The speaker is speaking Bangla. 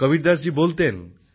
কবীরদাসজি বলতেন